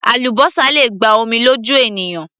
Àlúbósà le gba omi lójú ènìyàn